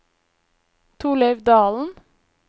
Torleiv Dalen